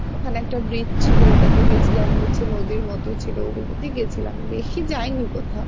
ওখানে একটা bridge ছিলো ওইটাতে গেছিলাম নিচে নদীর মতো ছিলো ওগুলোতে গেছিলাম বেশি যাইনি কোথাও